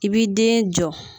I b'i den jɔ